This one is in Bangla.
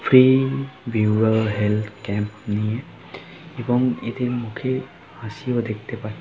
ফ্রি ভিউ হেলথ ক্যাম্প নিয়ে এবং এদের মুখে হাসি ও দেখতে পায়।